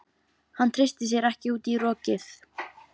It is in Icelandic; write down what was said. Hann treysti sér ekki út í rokið.